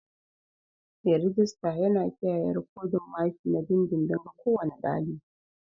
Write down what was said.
Mai rejista yana kiyaye rikodin maki na dindindin ga kowane ɗalibi.